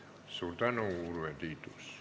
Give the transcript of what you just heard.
Suur tänu, Urve Tiidus!